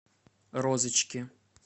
розочки